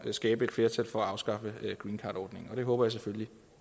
skabe et flertal for at afskaffe greencardordningen og det håber jeg selvfølgelig